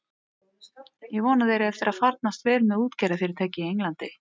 Ég vona að þér eigi eftir að farnast vel með útgerðarfyrirtækið í Englandi.